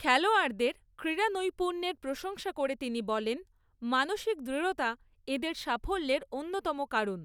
খেলোয়াড়দের ক্রীড়া নৈপুণ্যের প্রশংসা করে তিনি বলেন, মানসিক দৃঢ়তা এঁদের সাফল্যের অন্যতম কারণ।